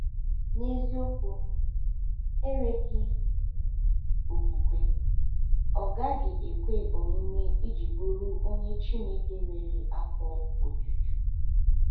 N’eziokwu, “enweghị okwukwe, ọ gaghị ekwe omume iji bụrụ onye Chineke nwere afọ ojuju.”